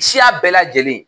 Siya bɛɛ lajɛlen